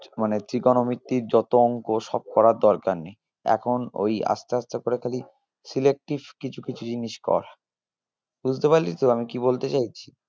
মানে trigonometry ইর যত অঙ্ক সব করার দরকার নেই এখন ওই আসতে আসতে করে খালি selective কিছু কিছু জিনিস কর বুঝতে পারলি তো আমি কি বলতে চাইছি?